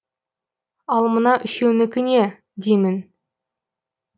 ал мына үшеуінікі не деймін